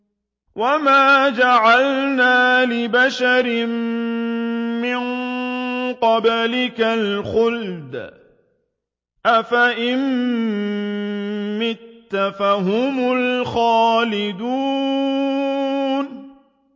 وَمَا جَعَلْنَا لِبَشَرٍ مِّن قَبْلِكَ الْخُلْدَ ۖ أَفَإِن مِّتَّ فَهُمُ الْخَالِدُونَ